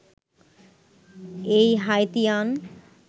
এই হাইতিয়ান